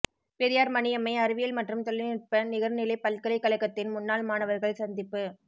பெரியார் மணியம்மை அறிவியல் மற்றும் தொழில்நுட்ப நிகர்நிலை பல்கலைக்கழகத்தின் முன்னாள் மாணவர்கள் சந்திப்பு